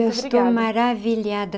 Eu estou maravilhada.